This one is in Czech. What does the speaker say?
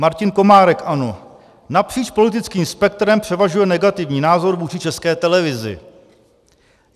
Martin Komárek, ANO: Napříč politickým spektrem převažuje negativní názor vůči České televizi.